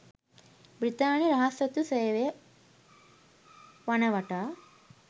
බ්‍රිතාන්‍ය රහස් ඔත්තු සේවය වනවටා.